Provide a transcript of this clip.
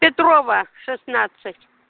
петрова шестнадцать